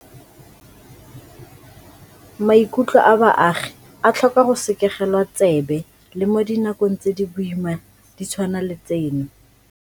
Maikutlo a baagi a tlhoka go sekegelwa tsebe le mo dinakong tse di boima di tshwana le tseno.